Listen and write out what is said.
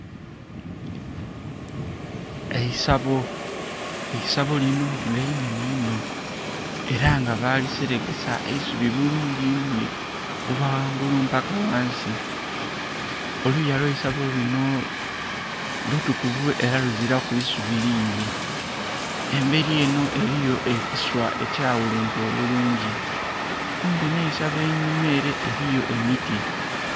Eisabo, eisabo linho nga inenhe inho era nga bakiserekesa eisubi bulungi inho okuva ghangulu paka ghansi. Oluya lweisabo linho lutukuvu era luzilaku busubi bungi inho, emberi enho eriyo ekisa ekya ghulumpwa obulungi kumpi nhe'sabo einhuma ere eriyo emiti.